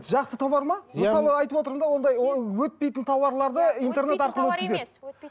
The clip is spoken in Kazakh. жақсы тоуар ма мысалы айтып отырмын да ондай өтпейтін тауарларды интернет арқылы өткізеді